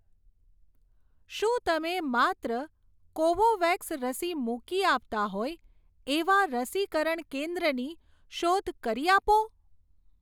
શું તમે માત્ર કોવોવેક્સ રસી મૂકી આપતાં હોય એવા રસીકરણ કેન્દ્રની શોધ કરી આપો?